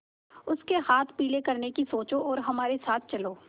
उसके हाथ पीले करने की सोचो और हमारे साथ चलो